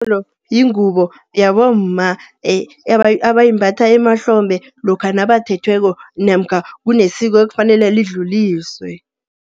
yingubo yabomma abayimbatha emahlombe, lokha nabathethweko namkha kunesiko ekufanele lidluliswe.